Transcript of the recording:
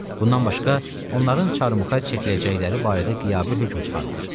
Bundan başqa, onların çarmıxa çəkiləcəkləri barədə qiyabi hökm çıxarılır.